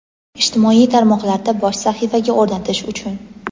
Ijtimoiy tarmoqlarda bosh sahifaga o‘rnatish uchun.